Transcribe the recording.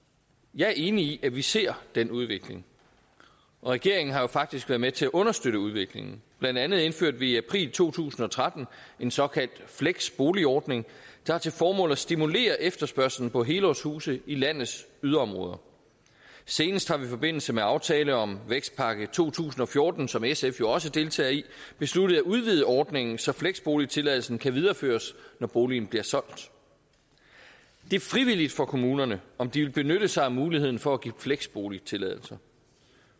jeg er enig i at vi ser den udvikling og regeringen har faktisk været med til at understøtte udviklingen blandt andet indførte vi i april to tusind og tretten en såkaldt fleksboligordning der har til formål at stimulere efterspørgslen på helårshuse i landets yderområder senest har vi i forbindelse med aftalen om vækstpakke to tusind og fjorten som sf jo også deltager i besluttet at udvide ordningen så fleksboligtilladelsen kan videreføres når boligen bliver solgt det er frivilligt for kommunerne om de vil benytte sig af muligheden for at give fleksboligtilladelser